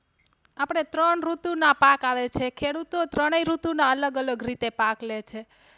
આપડે ત્રણ ઋતુના પાક આવે છે ખેડૂતો ત્રણેય ઋતુ ના અલગ અલગ રીતે પાક લે છે.